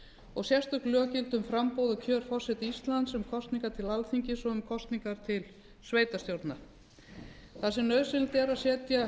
og sérstök lög gilda um framboð og kjör forseta íslands um kosningar til alþingis og um kosningar til sveitarstjórna þar sem nauðsynlegt er að setja lög